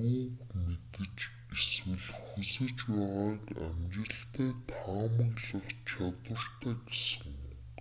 юуг мэдэж эсвэл хүсэж байгааг амжилттай таамаглах чадвартай гэсэн үг